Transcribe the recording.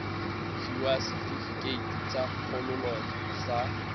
fiwa setefikeiti sa kgololo sa